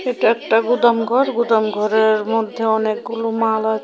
এটা একটা গুদাম ঘর গুদাম ঘরের মধ্যে অনেকগুলো মাল আ--